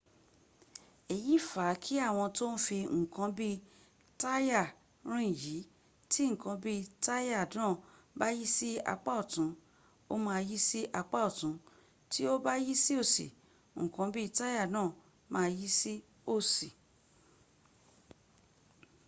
èyí fa kí àwọn tó ń fi ǹkan bí táyà rìn yí tí ǹkan bí táyà náà bá yí sí apá ọ̀tún ó ma yí sí apá ọ̀tún tí ó bá yí sí òsì ǹkan bí táyà náà ma yí sí òsì